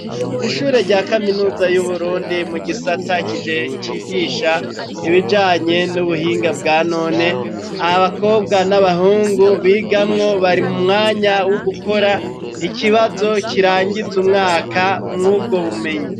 Ishure rya kaminuza y'uburundi mu gisata kije cigisha ibijanye n'ubuhinga bwanone abakobwa n'abahungu bigamwo bari mu mwanya wo gukora ikibazo kirangiza umwaka mw'ubwo bumenyi.